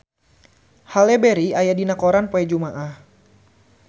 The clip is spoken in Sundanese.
Halle Berry aya dina koran poe Jumaah